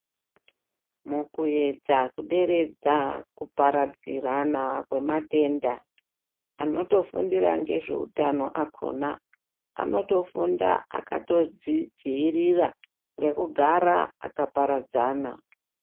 Mukuyedza kuderedza kupararirana kwematenda, anotofundire ngezveutano akhona anotofunda akatodzidziirira ngekugara akaparadzana.